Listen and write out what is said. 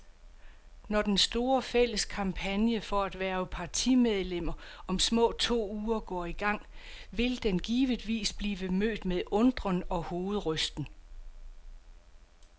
Når den store, fælles kampagne for at hverve partimedlemmer om små to uger går i gang, vil den givetvis blive mødt med undren og hovedrysten.